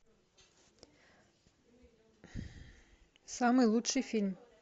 самый лучший фильм